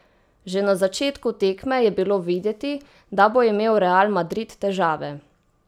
Že na začetku tekme je bilo videti, da bo imel Real Madrid težave.